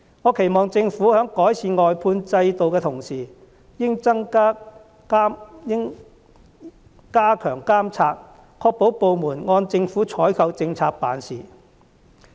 我期望政府在改善外判制度的同時，亦應加強監察，確保部門按政府的採購政策辦事。